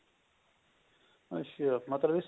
ਅੱਛਾ ਮਤਲਬ ਇਸ ਚ